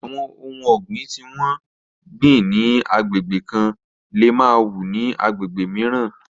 Àwọn ohun ọ̀gbìn tí wọ́n gbìn ni agbègbè kan lè má wù ní agbègbè mìíràn.